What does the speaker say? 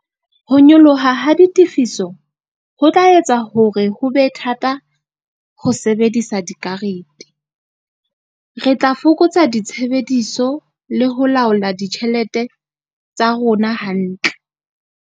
Ho nyoloha ha ditifiso ho tla etsa hore ho be thata ho sebedisa dikarete. Re tla fokotsa ditshebediso le ho laola ditjhelete tsa rona hantle.